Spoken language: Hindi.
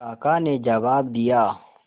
काका ने जवाब दिया